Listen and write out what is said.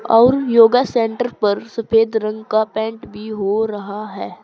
और yoga centre पर सफेद रंग का पेंट भी हो रहा है।